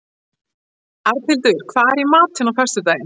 Arnhildur, hvað er í matinn á föstudaginn?